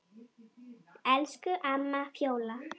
Elsku amma Fjóla.